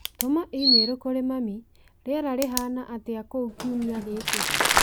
Tuma i-mīrū kũrĩ mami rĩera rĩhaana atĩa kũu kiumia gĩkĩ